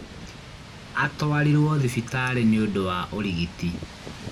Atwarirwo thibitarĩ nĩũndũ wa ũrigiti